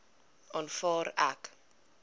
aanvaar ek